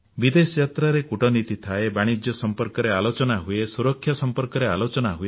ବିଦେଶ ଯାତ୍ରାରେ କୂଟନୀତି ଥାଏ ବାଣିଜ୍ୟ ସମ୍ପର୍କରେ ଆଲୋଚନା ହୁଏ ସୁରକ୍ଷା ସମ୍ପର୍କରେ ଆଲୋଚନା ହୁଏ